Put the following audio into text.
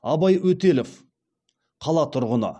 абай өтелов қала тұрғыны